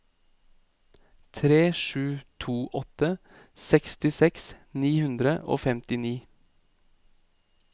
tre sju to åtte sekstiseks ni hundre og femtini